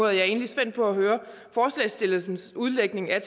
og jeg er egentlig spændt på at høre forslagsstillernes udlægning af